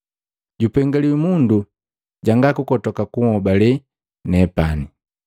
Jupengaliwi mundu jangakukotoka kunhobale nepani.”